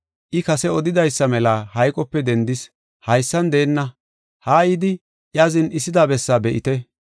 I kase odidaysa mela hayqope dendis; haysan deenna. Haa yidi iya zin7isida bessaa be7ite.